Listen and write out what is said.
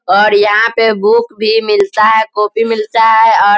और यहाँ पे बुक भी मिलता है। कॉपी मिलता है और --